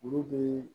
Olu bɛ